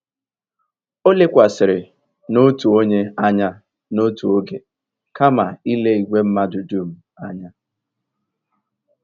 O lekwasịrị n'otu onye anya n'otu oge kama ile igwe mmadụ dum anya.